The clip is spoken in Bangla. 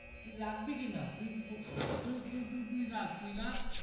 তুই রাখবি কিনা তুই তুই তুই তুই রাখ তুই রাখ.